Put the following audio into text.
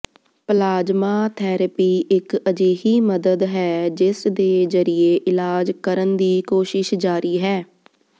plasma therapy ਇੱਕ ਅਜਿਹੀ ਮਦਦ ਹੈ ਜਿਸ ਦੇ ਜਰੀਏ ਇਲਾਜ ਕਰਨ ਦੀ ਕੋਸ਼ਿਸ਼ ਜਾਰੀ ਹੈ